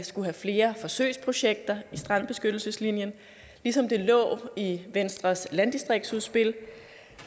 skulle være flere forsøgsprojekter inden strandbeskyttelseslinjen ligesom det lå i venstres landdistriktsudspil